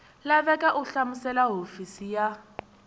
laveka u hlamusela hofisi ya